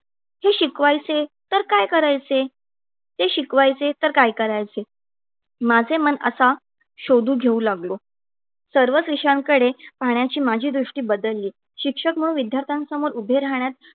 हे शिकवायचे तर काय करायचे? ते शिकवायचे तर काय करायचे? माझे मन असा शोधू घेऊ लागलो. सर्वच विषयांकडे पाहण्याची माझी दृष्टी बदलली. शिक्षक व विद्यार्थ्यांसमोर उभे राहण्यात